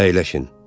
Əyləşin!